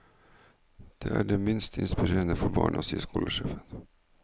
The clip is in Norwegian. Det er det minst inspirerende for barna, sier skolesjefen.